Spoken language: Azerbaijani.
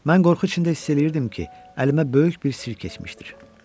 Mən qorxu içində hiss eləyirdim ki, əlimə böyük bir sir keçmişdir.